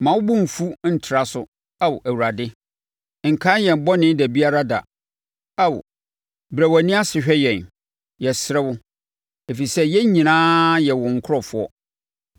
Mma wo bo mfu ntra so, Ao Awurade; nkae yɛn bɔne da biara da. Ao, brɛ wʼani ase hwɛ yɛn, yɛsrɛ wo, ɛfiri sɛ yɛn nyinaa yɛ wo nkurɔfoɔ.